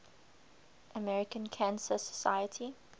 american cancer society